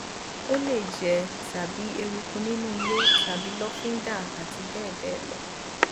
ó lè jẹ tàbí eruku nínú ilé tàbí lọfíńdà àti bẹẹ bẹẹ lọ